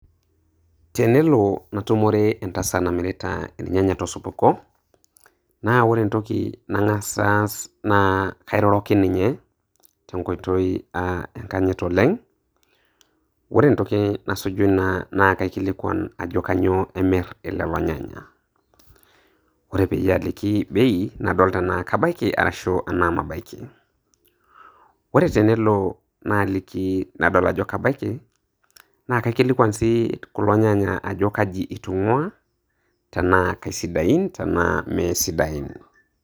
Tenelo natumore entasat namirita irnyanya tosupuko, na ore entoki nang'as aas, na kairoroki ninye, tenkoitoi enkanyit oleng'. Ore entoki nasuju ina na kaikilikwan ajoki kanyoo imirr ilelo nyanya. Ore peyie aliki bei, nadol tenaa kabaiki arashu enaa mabaiki. Ore tenelo naaliki nadol ajo kabaiki, na kaikilikwan si kulo nyanya ajo kaji itung'ua, tenaa kaisidain tenaa meesidain.